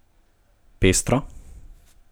Pestro?